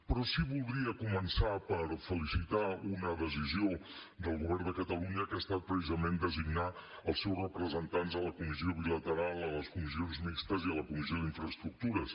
però sí voldria començar per felicitar una decisió del govern de catalunya que ha estat precisament designar els seus representants a la comissió bilateral a les comissions mixtes i a la comissió d’infraestructures